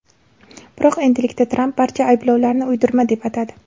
Biroq endilikda Tramp barcha ayblovlarni uydirma deb atadi.